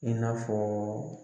I n'a fɔ